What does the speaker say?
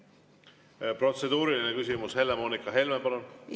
Protseduuriline küsimus, Helle-Moonika Helme, palun!